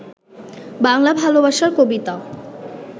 বাংলা ভালোবাসার কবিতা